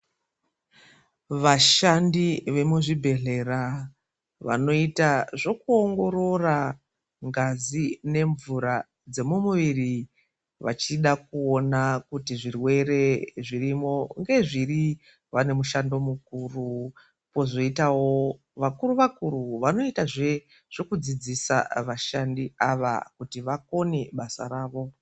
Vashandi vemuzvibhehleya vanoita zvokuongorora ngazi nemvura dzemumuviri vachida kuona kuti zvirwere zvirimo ngezviri vanemushando mukuru, kwozoitawo vakuru vakuru vanoita zvekudzidzisa vashandi ava kuti vakone basa ravo.